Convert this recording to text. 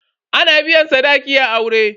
Ana biyan sadaki a aure.